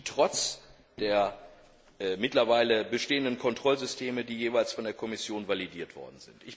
Dies geschieht trotz der mittlerweile bestehenden Kontrollsysteme, die jeweils von der Kommission validiert wurden.